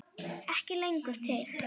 Ekki lengur til!